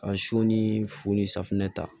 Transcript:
Ka sɔ ni fo ni safinɛ ta